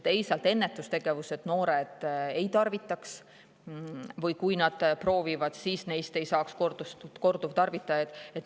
Teisalt ennetustegevus, et noored ei tarvitaks, või kui nad proovivad, siis neist ei saaks korduvtarvitajaid.